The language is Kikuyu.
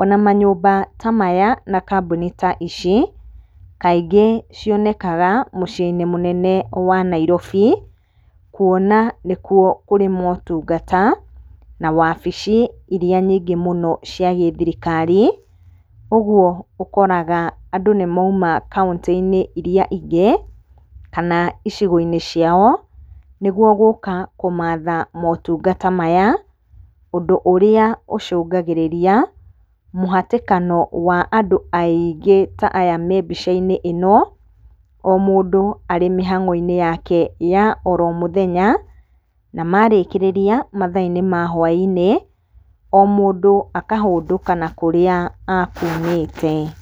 Ona manyũmba ta maya na kambuni ta ici, kaingĩ cionekaga mũciĩ-inĩ mũnene wa Nairobi. Kuona nĩkuo kũrĩ motungata, na wabici iria nyingĩ mũno cia gĩthirikari, ũguo ũkoraga andũ nĩmouma kauntĩ-inĩ iria ingĩ, kana icigo-inĩ ciao nĩguo gũka kũmatha motungata maya. Ũndũ ũrĩa ũcũngagĩrĩria mũhatĩkano wa andũ aingĩ ta aya me mbica-inĩ ĩno. O mũndũ arĩ mĩhang'o-inĩ yake ya oro mũthenya, na marĩkĩrĩria matha-inĩ mwa hwa-inĩ o mũndũ akahũndũka na kũrĩa akumĩte.